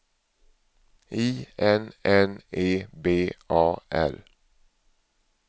I N N E B A R